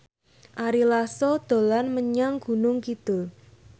Ari Lasso dolan menyang Gunung Kidul